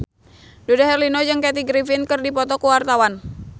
Dude Herlino jeung Kathy Griffin keur dipoto ku wartawan